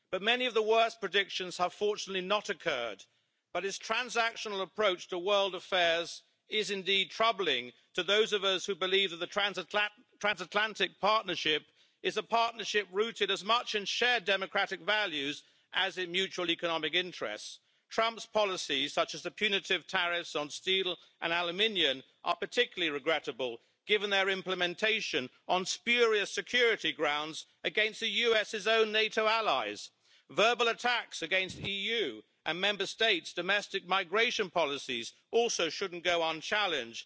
Many of the worst predictions have fortunately not occurred, but his transactional approach to world affairs is indeed troubling to those of us who believe that the transatlantic partnership is a partnership rooted as much in shared democratic values as in mutual economic interests. Trump's policies, such as the punitive tariffs on steel and aluminium, are particularly regrettable, given their implementation on spurious security grounds against the US' own NATO allies, and his verbal attacks on EU and Member States' domestic migration policies also shouldn't go unchallenged.